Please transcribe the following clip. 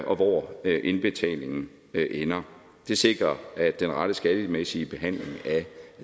og hvor indbetalingen ender det sikrer den rette skattemæssige behandling af